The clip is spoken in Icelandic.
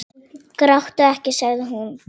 Gráttu ekki, sagði hún.